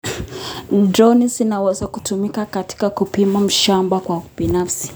Droni zinaweza kutumika katika kupima mashamba kwa ufanisi.